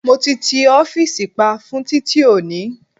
Mo ti ti ọ́fìsì pa fún titi oni